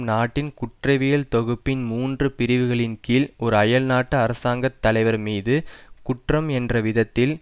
நாட்டின் குற்றவியல் தொகுப்பின் மூன்று பிரிவுகளின் கீழ் ஒரு அயல்நாட்டு அரசாங்க தலைவர்மீது குற்றம் என்ற விதத்தில்